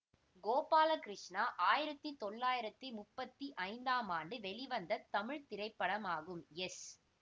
கோபாலகிருஷ்ணா ஆயிரத்தி தொள்ளாயிரத்தி முப்பத்தி ஐந்தாம் ஆண்டு வெளிவந்த தமிழ் திரைப்படமாகும் எஸ்